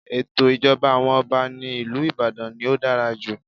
Ètò ìjọba àwọn Ọba ní ìlú Ìbàdàn ni ó dára jù.